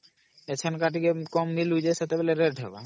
ଅମ୍ସେତେବେଳେ rate ହଵା